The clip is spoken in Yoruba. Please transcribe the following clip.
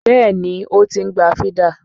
Bẹ́ẹ̀ni o, ó ti ń gba fídà.